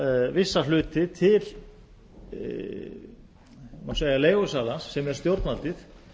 vissa hluti til má segja leigusalans sem er stjórnvaldið